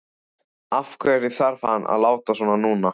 Af hverju þarf hann að láta svona núna?